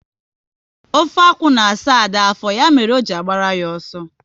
Ofe akwụ na asa Ada afọ, ya mere o ji agbara ya ọsọ